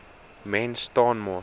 mens staan mos